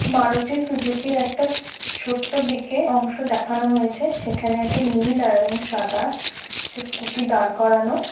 Maruti Suzuki র একটা ছোট্ট দিকে অংশ দেখানো হয়েছে সেখানে একটা নীল এবং সাদা স্কুটি দাঁড় করানো।